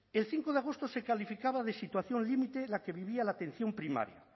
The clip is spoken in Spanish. el cinco de agosto se calificaba de situación límite la que vivía la atención primaria